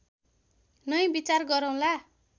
नै विचार गरौँला